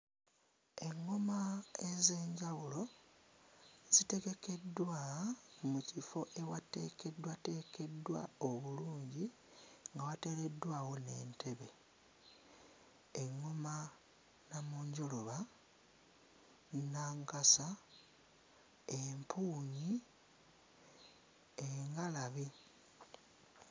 Eŋŋoma ez'enjawulo zitegekeddwa mu kifo ewateekeddwateekeddwa obulungi nga wateereddwawo n'entebe. Eŋŋoma nnamunjoloba, nnankasa, empuunyi, engalabi.